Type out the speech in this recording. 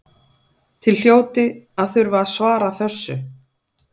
Þið hljótið að þurfa að svara þessu?